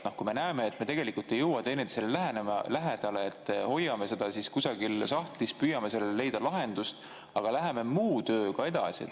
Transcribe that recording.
Kui me näeme, et me ei jõua teineteisele lähemale, siis hoiame seda kusagil sahtlis, püüame leida lahendust, aga läheme muu tööga edasi.